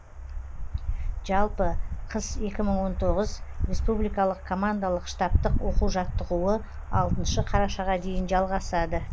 жалпы қыс екі мың он тоғыз республикалық командалық штабтық оқу жаттығуы алтыншы қарашаға дейін жалғасады